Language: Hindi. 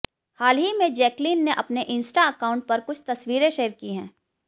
हाल ही में जैकलीन ने अपने इंस्टा अकाउंट पर कुछ तस्वीरें शेयर की हैं